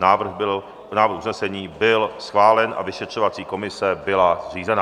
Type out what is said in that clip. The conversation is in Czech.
Návrh usnesení byl schválen a vyšetřovací komise byla zřízena.